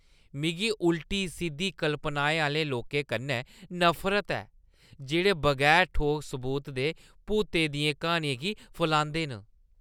मिगी उल्टी-सिद्धी कल्पनाएं आह्‌ले लोकें कन्नै नफरत ऐ जेह्ड़े बगैर ठोस सबूत दे भूतें दियें क्हानियें गी फलांदे न।